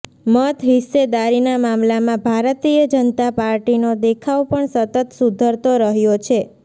મતહિસ્સેદારીના મામલામાં ભારતીય જનતા પાર્ટીનો દેખાવ પણ સતત સુધરતો રહ્યો છે